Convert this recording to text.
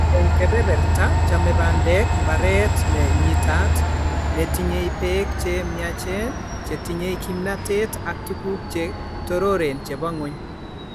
Eng' kebeberta chame bandek mbareet ne nyiitaat, ne tinyei peek che myachen che tinyei kimnateet ak tuguuk che torooreen che po ng'wony.